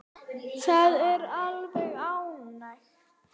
Það er alveg ágætt.